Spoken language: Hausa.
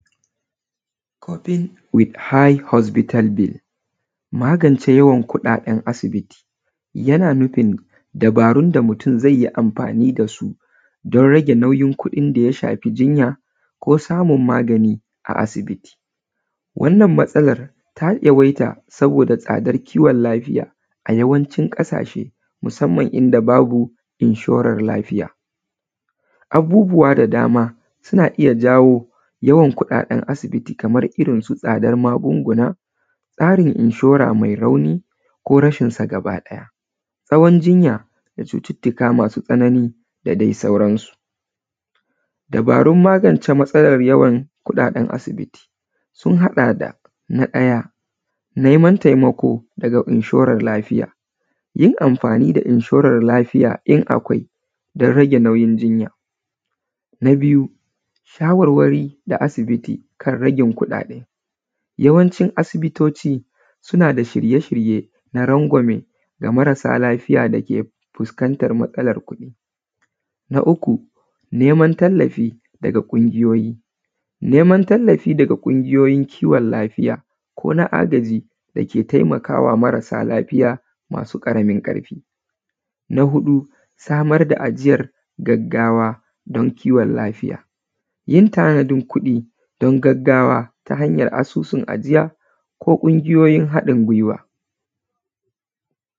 Couping with high hospital bill, magance yawan kuɗaɗen asibiti yana nufin dabarun da mutum zai yi amfani da su don rage nauyin kuɗin da ya shafi jinya ko samun magani a asibiti. Wannan matsalar ta yawaita saboda tsadar kiwon lafiya a yawancin ƙasashe musamman inda babu inshorar lafiya. Abubuwa da dama suna iya jawo yawan kuɗaɗen asibiti kamar irin su tsadar magunguna, tsarin inshora mai rauni ko rashin sa gaba ɗaya, tsawon jinya da cututtuka masu tsanani da dai sauran su. Dabarun magance matsalar yawan kuɗaɗen asibiti sun haɗa da na ɗaya, neman taimako daga inshoran lafiya, yin amfani da inshoran lafiya in akwai don rage nauyin jinya. Na biyu, shawarwari da asibiti kan ragin kuɗaɗe, yawancin asibitoci suna da shirye-shirye na rangwame da marasa lafiya da ke fuskantar matsalar kuɗi. Na uku, neman tallafi daga ƙungiyoyi, neman tallafi daga ƙungiyoyin kiwon lafiya ko na agaji dake taimakawa marasa lafiya masu ƙaramin ƙarfi. Na huɗu, samar da ajiyar gaggawa don kiwon lafiya, yin tanadin kuɗi don gaggawa ta hanyar asusun ajiya ko ƙungiyoyin haɗin guiwa.